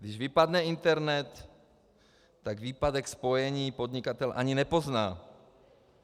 Když vypadne internet, tak výpadek spojení podnikatel ani nepozná.